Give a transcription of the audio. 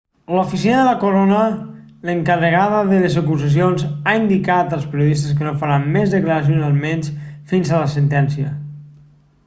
l'oficina de la corona l'encarregada de les acusacions ha indicat als periodistes que no farà més declaracions almenys fins a la sentència